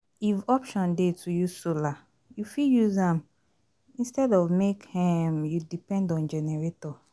If option dey to use solar you fit use am instead of make um you depend on generator